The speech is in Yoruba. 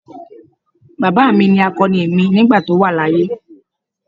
Baba mi ni akoni mi nigba to wa laaye.